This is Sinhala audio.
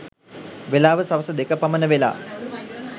වෙලාව සවස දෙක පමණ වෙලා.